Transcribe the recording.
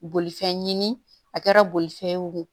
Bolifɛn ɲini a kɛra fɛn wo